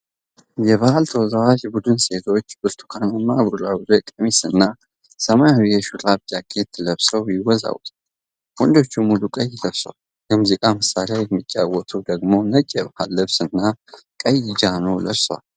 የባህል ተወዛዋዥ ቡድን ሴቶች ብርቱካናማ ቡራቡሬ ቀሚስ እና ሰማያዊ የሹራብ ጃኬት ለብሰዉ ይወዛወዛሉ። ወንዶቹ ሙሉ ቀይ ለብሰዋል። የሙዚቃ መሳሪያ የሚጫወቱት ደግሞ ነጭ የባህል ልብስ እና ቀይ ጃኖ ለብሰዋል።